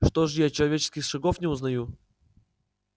что же я человеческих шагов не узнаю